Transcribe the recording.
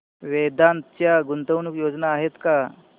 वेदांत च्या गुंतवणूक योजना आहेत का